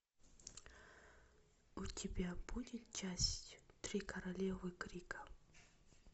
у тебя будет часть три королевы крика